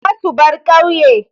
Za su bar ƙauye.